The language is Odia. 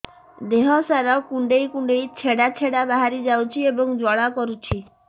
ଦେହ ସାରା କୁଣ୍ଡେଇ କୁଣ୍ଡେଇ ଛେଡ଼ା ଛେଡ଼ା ବାହାରି ଯାଉଛି ଏବଂ ଜ୍ୱାଳା କରୁଛି